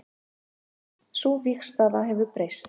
Sú vígstaða hefur breyst